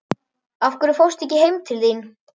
Af hverju fórstu ekki heim til þín?